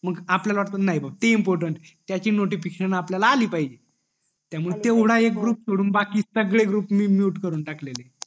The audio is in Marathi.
मग आपल्याला वाट बाबा नई ते इम्पॉर्टन्ट आहे त्याची नोटिफिकेशन आपल्याला अली पाहिजे तेवढा एक ग्रुप सोडून बाकी सगळे ग्रुप मी mute करून टाकलेले येत